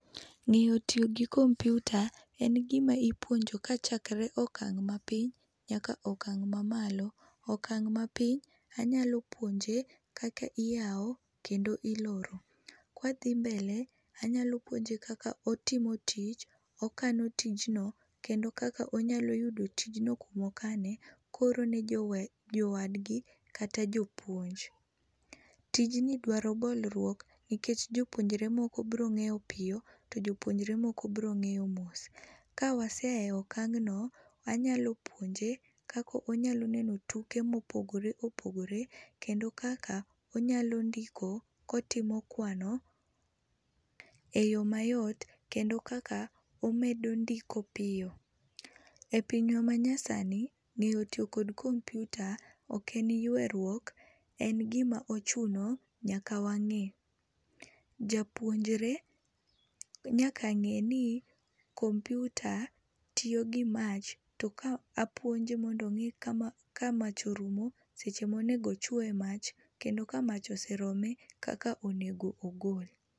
Ng'eyo tiyo gi kompiuta en gima ipuonjo kachakre okang' mapiny nyaka okang' mamalo. Okang' mapiny, anyalo puonje kaka iyawo kendo iloro. Kwa dhi mbele anyalo puonje kaka otimo tich, okano tijno kendo kaka onyalo yudo tijno kuma okane kooro ne jo jowadgi kata jopuonj. Tijni dwaro bolruok nikech jopuonjre moko biro ng'eyo piyo to jopuonje moko biro ng'eyo mos. Ka wase a e okang'no, wanyalo puonje kaka onyalo neno tuke mopogore opogore, kendo kaka onyalo ndiko kotimo kwano eyoo mayot kendo kaka omedo ondiko piyo. E pinywa manyasani ng'eyo tiyo kod kompiuta ok en yueruok, en gima ochuno nyaka wang'e. Japuonjre nyaka ng'e ni kompiuta tiyo gi mach to ka apuonje mondo ong'e ka mach orumo, seche monego ochoye emach kendo kamach osee rome kaka onego ogol.